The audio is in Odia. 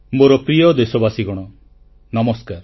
ମୋର ପ୍ରିୟ ଦେଶବାସୀଗଣ ନମସ୍କାର